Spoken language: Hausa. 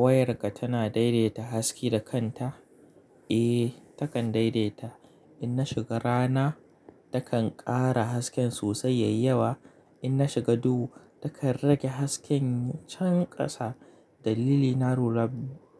Wayarka tana daidaita haske da kanta? Eh, takan daidaita. In nashiga rana, takan ƙara hasken sosai yayyawa. In na shiga duhu, takan rage hasken can ƙasa. Dalili na rura